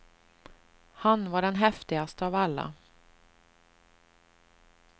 Han var den häftigaste av alla.